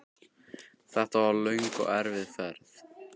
Þetta var löng og erfið ferð.